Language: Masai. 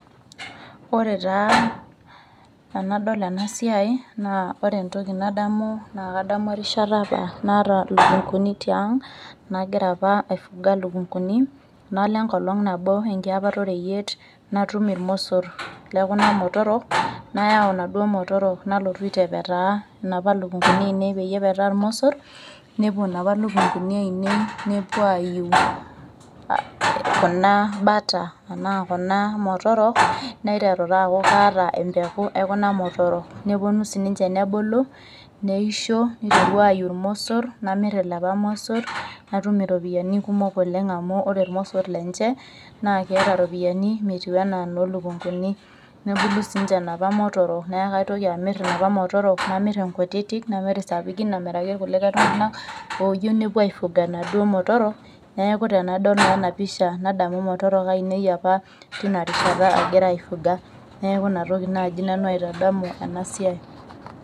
Ore taa enadol enasiai, naa ore entoki nadamu na kadamu erishata naata ilukunkuni tiang', nagira apa ai fuga lukunkuni, nalo enkolong nabo enkiapata oreyiet, natum irmosor lekuna motorok, nayau naduo motorok nalotu aitepetaa inapa lukunkuni ainei peyie epetaa irmosor, nepuo napa lukunkuni ainei nepuo aiu kuna bata, anaa kuna motorok, niteru taa aku kaata empeku ekuna motorok. Neponu sininche nebulu, neisho, niteru aiu irmosor, namir ilapa mosor natum iropiyiani kumok oleng amu ore irmosor lenche, na keeta ropiyiani metiu enaa lo lukunkuni. Nebulu sinche napa motorok, neku kaitoki amir inapa motorok namiri inkutiti, namir isapukin amiraki kulikae tung'anak oyieu nepuo ai fuga naduo motorok, neeku tenadol naa enapisha nadamu motorok ainei apa tinarishata agira ai fuga. Neeku inatoki naji nanu aitadamu enasiai.